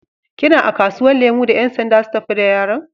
Kina a kasuwan lemu da yansanda su tafi da yaron?